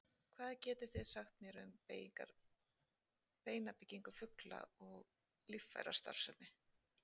Hvað getið þið sagt mér um beinabyggingu fugla og líffærastarfsemi?